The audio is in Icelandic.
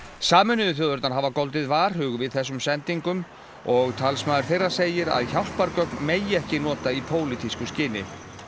sameinuðu þjóðirnar hafa goldið varhug við þessum sendingum og talsmaður þeirra segir að hjálpargögn megi ekki nota í pólitísku skyni